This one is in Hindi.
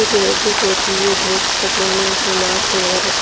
एक लेडिस बेठी हुई है ब्लैक कपड़े में उसने मास्क लगा रखा --